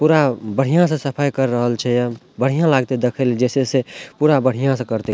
पूरा बढ़िया से सफाई कर रहल छै या बढ़िया लागते देखले जेई छै से पूरा बढ़िया से करते।